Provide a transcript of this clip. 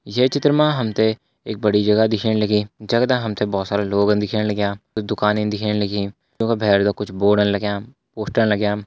ये चित्र मा हम त बड़ी जगह दिखेण लगीं जगदा हम त बहोत लोग दिखेण लग्यां कुछ दुकानि दिखेण लगीं वैका भैर कुछ बोर्ड लग्यां पोस्टर